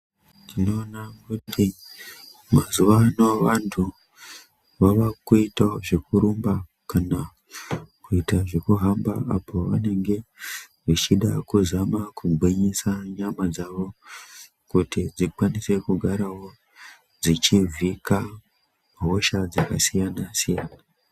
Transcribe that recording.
Tinoona kuti mazuva ano vantu vava kuitawo zveku rumba kana kuita zveku hamba apo vanenge vechida ku zama ku gwinyisa nyama dzavo kuti dzikwanise kugarawo dzechi vhika hosha dzaka siyana siyana.